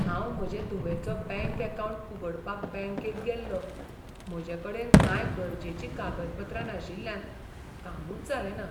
हांव म्हजे धुवेचो बँक अकावंट उगडपाक बँकेंत गेल्लो, म्हजे कडेन कांय गरजेचीं कागदपत्रां नाशिल्ल्यान कामूच जालें ना.